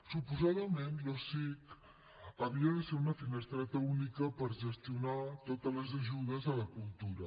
suposadament l’osic havia de ser una finestreta única per gestionar totes les ajudes a la cultura